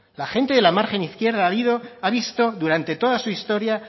la gente de la margen izquierda ha visto durante toda su historia